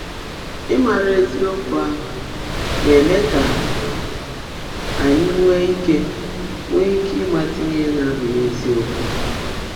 Ị́márá ézíokwú áhụ́ ná-èmé kà ányị́ nwèé íke nwèé íke ị́mátá íhe ná-ábụ́ghị́ ézíokwú.